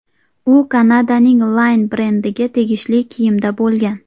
U Kanadaning Line brendiga tegishli kiyimda bo‘lgan.